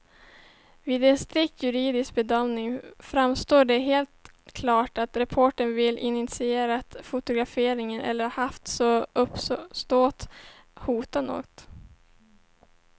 Vid en strikt juridisk bedömning framstår det som helt klart att reportern varken initierat fotograferingen eller haft som uppsåt att hota någon.